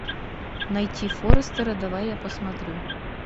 найти форрестера давай я посмотрю